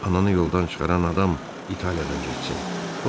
ananı yoldan çıxaran adam İtaliyadan getsin.